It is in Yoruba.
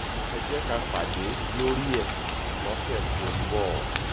ẹ jẹ́ ká pàdé lórí ẹ̀ lọ́sẹ̀ tó ń bọ̀